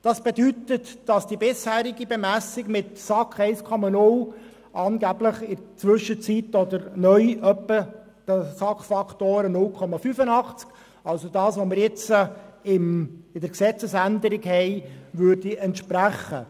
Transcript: Das bedeutet, dass die bisherige Bemessung mit 1,0 SAK angeblich in der Zwischenzeit oder neu etwa einem SAK-Faktor von 0,85 entsprechen würde, also dem, was wir jetzt in der Gesetzesänderung haben.